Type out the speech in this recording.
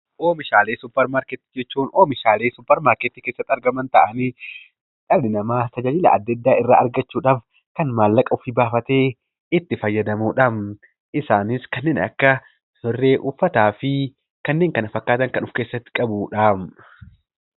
Oomishaalee suupparmaarkeetii jechuun oomishaalee suupparmaarkeetii keessatti argaman ta'anii dhalli namaa tajaajila adda addaa argachuudhaaf maallaqa ofii baafatee itti fayyadamudha. Isaanis kanneen akka birrii, uffataa fi kanneen kana fakkaatan kan of keessatti qabatudha.